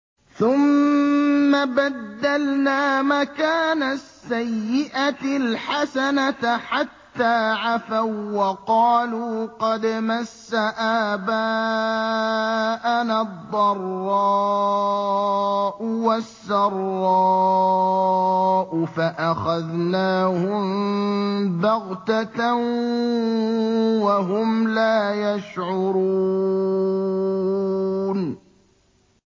ثُمَّ بَدَّلْنَا مَكَانَ السَّيِّئَةِ الْحَسَنَةَ حَتَّىٰ عَفَوا وَّقَالُوا قَدْ مَسَّ آبَاءَنَا الضَّرَّاءُ وَالسَّرَّاءُ فَأَخَذْنَاهُم بَغْتَةً وَهُمْ لَا يَشْعُرُونَ